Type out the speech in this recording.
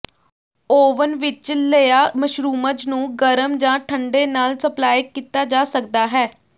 oven ਵਿਚ ਲਈਆ mushrooms ਨੂੰ ਗਰਮ ਜ ਠੰਡੇ ਨਾਲ ਸਪਲਾਈ ਕੀਤਾ ਜਾ ਸਕਦਾ ਹੈ